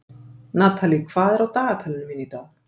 Natalie, hvað er á dagatalinu mínu í dag?